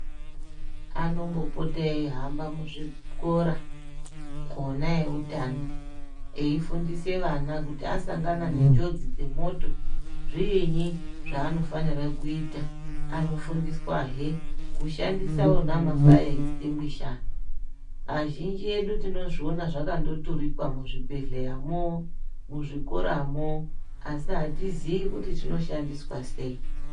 Anombopota eihamba muzvikora ona eutano, eifundisa vana kuti kana asangana nenjodzi dzemoto, zviinyi zvaanofanire kuita, anofundiswa here kushandisa wona mafiya esitinguisha, azhinji edu tinozviona zvakandotudikwa muzvibhehleyamo, muzvikoramo asi atiziyi kuti zvinoshandiswa sei.